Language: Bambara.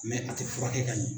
a tɛ furakɛ ka ɲɛ.